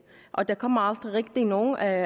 og der kom aldrig rigtig nogen af